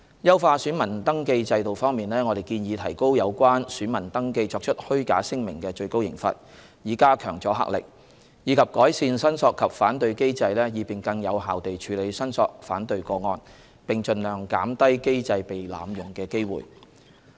優化選民登記制度方面，我們建議提高有關選民登記作出虛假聲明的最高刑罰，以加強阻嚇力，以及改善申索及反對機制，以便更有效地處理申索/反對個案，並盡量減低機制被濫用的機會。